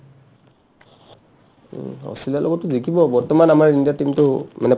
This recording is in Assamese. উম্, অষ্ট্ৰেলিয়াৰ লগতটো জিকিব বৰ্তমান আমাৰ ইণ্ডিয়াৰ team টো মানে